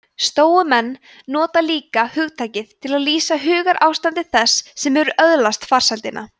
stóumenn nota líka hugtakið til að lýsa hugarástandi þess sem hefur öðlast farsældina